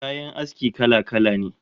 Kayan aski kala-kala ne